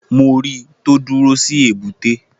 Mo ri tó dúró sí èbúté.